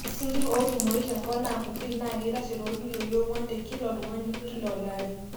ore isinkir ootumoyu te nkop naa kutik naa keitashe tolkiloi oonguan te kila oltungani kila olari